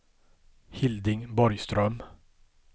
Hilding Borgström